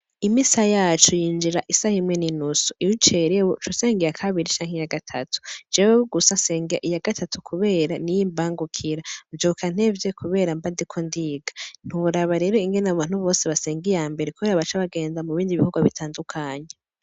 Imisa yacu yinjira isaha imwe n'inusu; iyo ucerewe, ucusenga iya kabiri canke iya gatatu; jewe gusa nsenga iya gatatu kubera niyo imbangukira, mvyuka ntevye kubera mba ndiko ndiga; ntiworaba rero ingene abantu bose basenga iyambere, kubera baca bagenda mu bindi bikorwa bitandukanye.